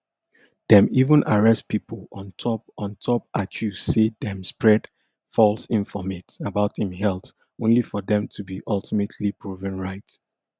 dem even arrest pipo on top on top accuse say dem spread false informate about im health only for dem to be ultimately proven right